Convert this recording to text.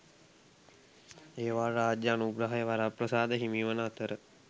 ඒවාට රාජ්‍ය අනුග්‍රහය වරප්‍රසාද හිමිවන අතර